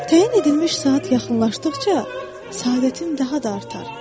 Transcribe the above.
Təyin edilmiş saat yaxınlaşdıqca səadətim daha da artar.